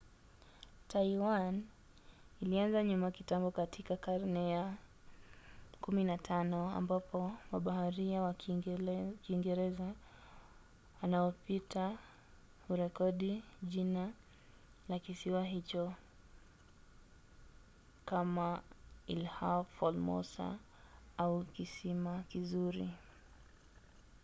taiwan ilianza nyuma kitambo katika karne ya 15 ambapo mabaharia wa kiingereza wanaopita hurekodi jina la kisiwa hicho kama ilha formosa au kisiwa kizuri